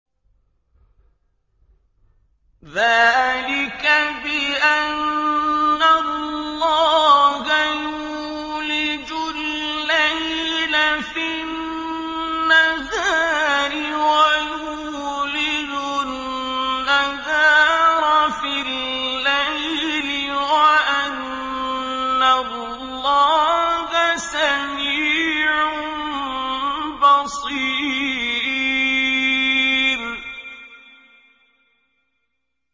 ذَٰلِكَ بِأَنَّ اللَّهَ يُولِجُ اللَّيْلَ فِي النَّهَارِ وَيُولِجُ النَّهَارَ فِي اللَّيْلِ وَأَنَّ اللَّهَ سَمِيعٌ بَصِيرٌ